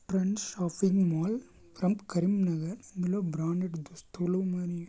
Trends shopping mall from Karimnagar ఇందులో branded దుస్తులు ఉన్నాయి.